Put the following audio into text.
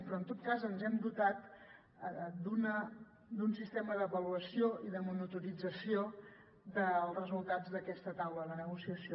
però en tot cas ens hem dotat d’un sistema d’avaluació i de monitorització dels resultats d’aquesta taula de negociació